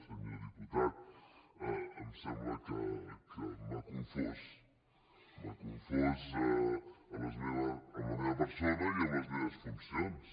senyor diputat em sembla que m’ha confós m’ha confós en la meva persona i en les meves funcions